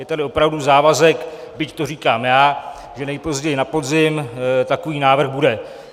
Je tady opravdu závazek, byť to říkám já, že nejpozději na podzim takový návrh bude.